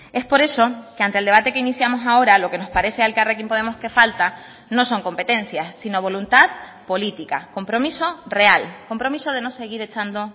es por eso que ante el debate que iniciamos ahora lo que nos parece a elkarrekin podemos que falta no son competencias sino voluntad política compromiso real compromiso de no seguir echando